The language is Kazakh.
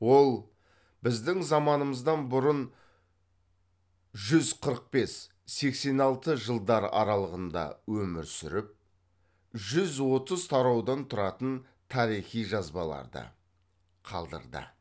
ол біздің заманымыздан бұрын жүз қырық бес сексен алты жылдар аралығында өмір сүріп жүз отыз тараудан тұратын тарихи жазбаларды қалдырды